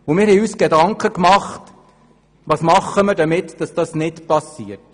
Wir haben uns Gedanken darüber gemacht, was zu tun ist, damit das nicht geschieht.